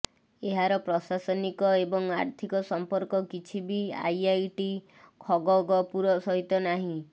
ଏହାର ପ୍ରଶାସନିକ ଏବଂ ଆର୍ଥିକ ସଂପର୍କ କିଛି ବି ଆଇଆଇଟି ଖଗଗପୁର ସହିତ ନାହିଁ